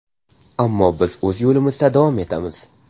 Ammo biz o‘z yo‘limizda davom etamiz.